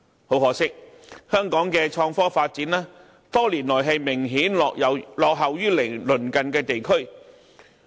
很可惜，香港的創科發展，多年來明顯落後於鄰近地區。